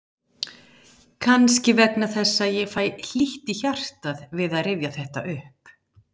Kannski vegna þess að ég fæ hlýtt í hjartað við að rifja þetta upp.